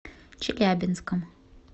челябинском